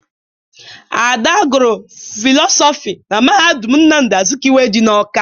Ada gụrụ fịlọsọfị na mahadum Nnamdi Azikiwe dị n'Ọ́ká.